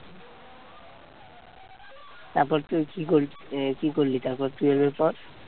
তারপর তুই কি করলি? আহ কি করলি তারপর twelve এর পর?